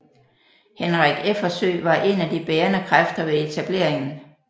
Henrik Effersøe var en af de bærende kræfter ved etableringen